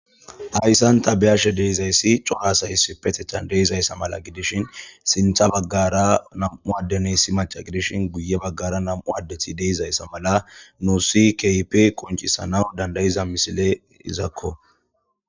ayssanta beyashe deizayssi coaasayss petechan deeizayssa mala gidishin sintha baggara nam7u addenessi maca gidishin guye baggara nam7u addethi deizayssa mala nuusi keipe qoncisana dandayiza misile izakko